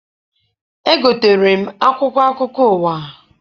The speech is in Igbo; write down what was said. Egotere m akwụkwọ akụkọ ụwa.